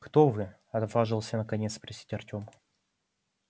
кто вы отважился наконец спросить артём